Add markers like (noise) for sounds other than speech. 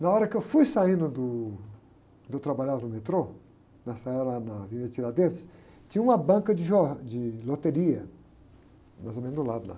Na hora que eu fui saindo do, quando eu trabalhava no metrô, nessa era na, (unintelligible) tinha uma banca de jor, de loteria, mais ou menos do lado lá.